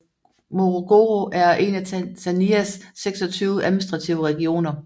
Morogoro er en af Tanzanias 26 administrative regioner